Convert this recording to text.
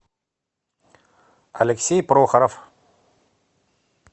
алексей прохоров